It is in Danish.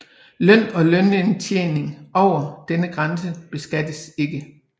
Løn og lønindtjening over denne grænse beskattes ikke